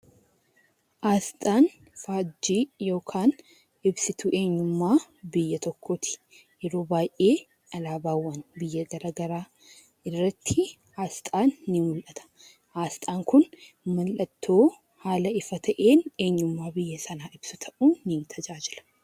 Aasxaan faajjii yookiin ibsituu eenyummaa biyya tokkooti. Yeroo baayyee alaabaawwan biyya garaa garaa irratti aasxaan ni mu'ata. Aasxaan kun mallattoo haala ifa ta'een eenyummaa biyya sanaa ibsu ta'uun ni tajaajila.